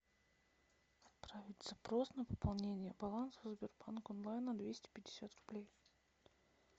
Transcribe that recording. отправить запрос на пополнение баланса в сбербанк онлайн на двести пятьдесят рублей